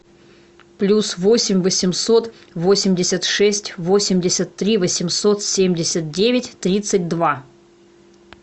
плюс восемь восемьсот восемьдесят шесть восемьдесят три восемьсот семьдесят девять тридцать два